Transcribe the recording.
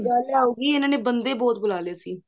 ਗੱਲ ਇਹ ਹੋਗੀ ਇਹਨਾ ਨੇ ਬੰਦੇ ਬਹੁਤ ਬੁਲਾ ਲੈ ਸੀ